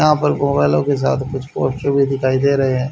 यहां पर गॉगलो के साथ कुछ पोस्टर भी दिखाई दे रहे हैं।